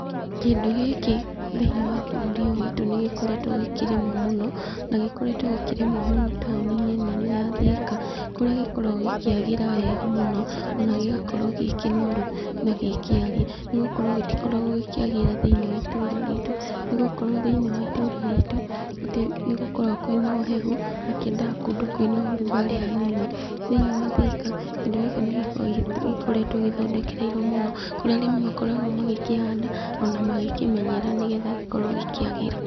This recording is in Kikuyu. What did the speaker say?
Kĩndũ gĩkĩ thĩiniĩ wa bũrũri ũyũ witũ nĩ gĩkoretwo gĩkĩrimwo mũno, na gĩkoretwo gĩkĩrĩmwo mũno tauni-inĩ nene ya Thĩka, kũrĩa gĩkoragwo gĩkĩagĩra mũno, ona gĩgakorwo gĩ kĩnoru na gĩ kĩariĩ, nĩgũkorwo gĩtikoragwo gĩkĩagĩra thĩiniĩ wa itũũra ritũ, nĩgũkorwo thĩiniĩ wa itũũra ritũ nĩ gũkoragwo kwĩna ũhehu, na kĩendaga kũndũ kwina ũrugarĩ hanini. Thĩiniĩ wa Thĩka, kĩndũ gĩkĩ nĩ gĩkoretwo gĩthondekereirwo wega mũno, kũrĩa arĩmi makoragwo magĩkĩhanda, ona magĩkĩmenyerera nĩgetha gĩkorwo gĩkiagĩra.